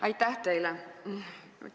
Aitäh teile!